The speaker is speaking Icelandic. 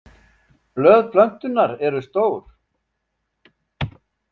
Blöð plöntunnar eru stór.